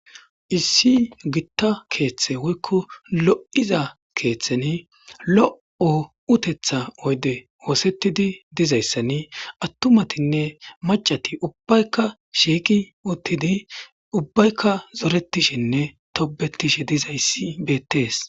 issi gitta keeththe woykko lo'iza keeththeni lo'o utetha oyde woosettidi dizayssani attumatinne macati ubbaykka shiiqi uttidi ubbaykka zoretishenne tobetishe dizayssi bettees